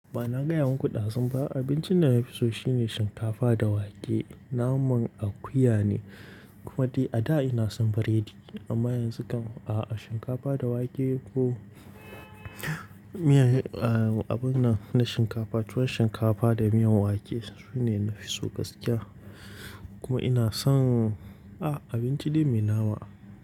Ba na gaya muku ɗazun ba Abincin da nafi so shine shinkafa da wake. Naman akuya ne, kuma dai ada ina son biredi amma yanzu kam a'a, shinkafa da wake ko miya, ah abin nan na shinkafa, tuwon shinkafa da miyan wake sune nafi so gaskiya. Kuma ina son ah abinci dai mai nama.